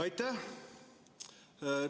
Aitäh!